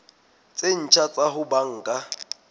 tse ntjha tsa ho banka